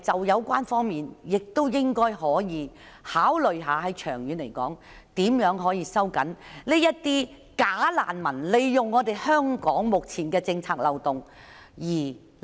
有關方面是否應該考慮，長遠而言收緊政策，以針對假難民利用及濫用香港目前的政策漏洞？